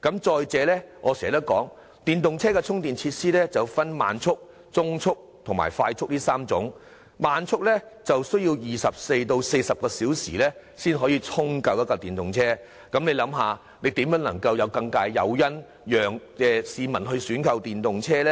再者，電動車充電設施分為慢速、中速和快速充電3種，慢速充電器需時24小時至40小時才能為一輛電動車充電完畢，試問這又如何能提供更大誘因，吸引市民選購電動車呢？